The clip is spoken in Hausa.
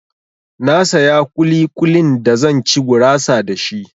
Na saya ƙuli-ƙulin da zan ci gurasa da shi.